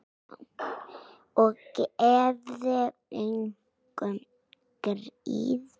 Og gefum engum grið.